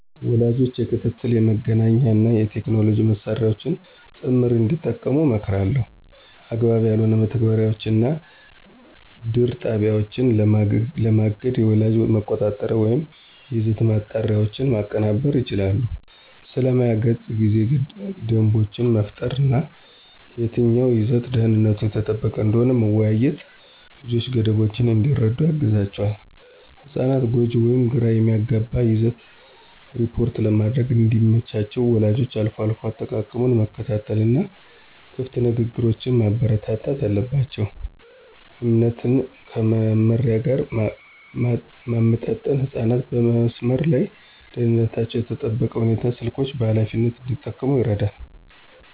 ወላጆች የክትትል፣ የመገናኛ እና የቴክኖሎጂ መሳሪያዎችን ጥምር እንዲጠቀሙ እመክራለሁ። አግባብ ያልሆኑ መተግበሪያዎችን እና ድር ጣቢያዎችን ለማገድ የወላጅ መቆጣጠሪያዎችን ወይም የይዘት ማጣሪያዎችን ማቀናበር ይችላሉ። ስለ ማያ ገጽ ጊዜ ደንቦችን መፍጠር እና የትኛው ይዘት ደህንነቱ የተጠበቀ እንደሆነ መወያየት ልጆች ገደቦችን እንዲረዱ ያግዛቸዋል። ህጻናት ጎጂ ወይም ግራ የሚያጋባ ይዘትን ሪፖርት ለማድረግ እንዲመቻቸው ወላጆች አልፎ አልፎ አጠቃቀሙን መከታተል እና ክፍት ንግግሮችን ማበረታታት አለባቸው። እምነትን ከመመሪያ ጋር ማመጣጠን ህጻናት በመስመር ላይ ደህንነታቸው በተጠበቀ ሁኔታ ስልኮችን በኃላፊነት እንዲጠቀሙ ይረዳል።